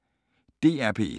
DR P1